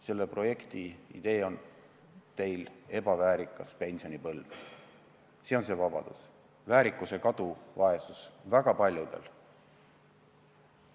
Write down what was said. Selle teie projekti idee on ebaväärikas pensionipõlv, selle vabaduse hind on väärikuse kadumine, vaesus väga paljudel.